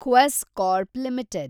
Quess Corp limited